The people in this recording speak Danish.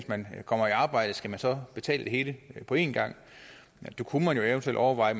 man kommer i arbejde skal man så betale det hele på en gang vi kunne jo eventuelt overveje